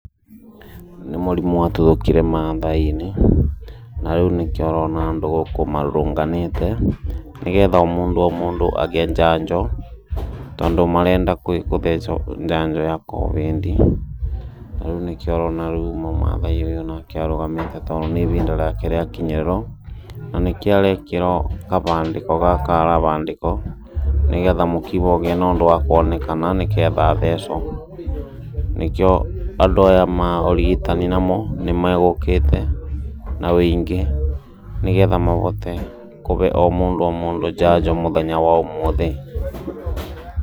Nĩ mũrimũ watuthũkire Maathai-inĩ, narĩũ nĩkĩo ũrona andũ gũkũ marũrũnganĩte, nĩgetha o mũndũ agĩe njanjo, tondũ marenda gũthecwo njanjo ya Covid, na rĩu nĩkĩo ũrona Maathai ũyũ nake arũgamĩte tondũ nĩ ihinda rĩake rĩakinyĩrĩrwo, na nĩkĩo arekĩrwo gabandĩko gaka arabandĩkwo, nĩguo kũgĩe na kaũndũ gakuonekana, nĩgetha athecwo. Nĩkĩo andũ aya maũrigitani namo nĩmegũkĩte, na ũingĩ, nĩgetha mahote kũbe o mũndũ o mũndũ njanjo mũthenya wa ũmũthĩ.